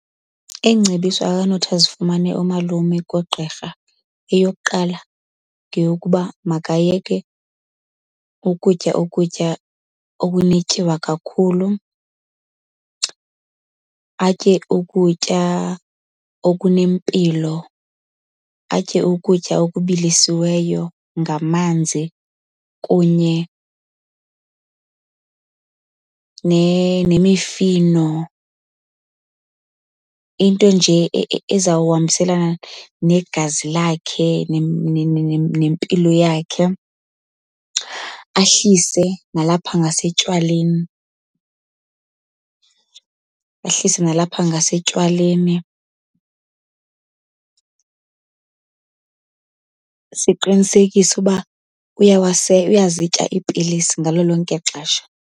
Iingcebiso akanothi azifumane umalume koogqirha. Eyokuqala ngeyokuba makayeke ukutya ukutya okunetyiwa kakhulu. Atye ukutya okunempilo, atye ukutya okubilisiweyo ngamanzi kunye nemifino, into nje ezawuhambiselana negazi lakhe nempilo yakhe. Ahlise nalapha ngasetywaleni ahlise nalapha ngasetywaleni. Siqinisekise uba uyazitya iipilisi ngalo lonke ixesha.